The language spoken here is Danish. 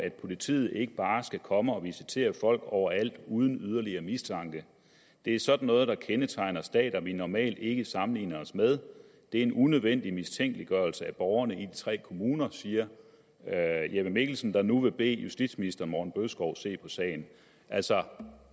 at politiet ikke bare skal komme og visitere folk overalt uden yderligere mistanke det er sådan noget der kendetegner stater vi normalt ikke sammenligner os med det er en unødvendig mistænkeliggørelse af borgerne i de tre kommuner siger herre jeppe mikkelsen der nu vil bede justitsministeren om at se på sagen altså